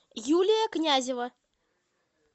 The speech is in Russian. юлия князева